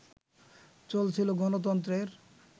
চলছিল গণতন্ত্রের